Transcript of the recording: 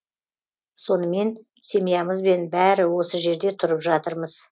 сонымен семьямызбен бәрі осы жерде тұрып жатырмыз